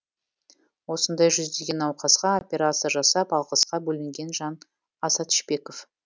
осындай жүздеген науқасқа операция жасап алғысқа бөленген жан азат шпеков